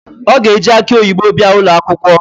O ga-eji akị oyibo bịa ụlọakwụkwọ